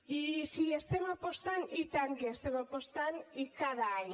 i si hi estem apostant i tant que hi estem apostant i cada any